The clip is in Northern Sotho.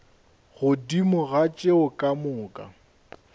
godimo ga tšeo ka moka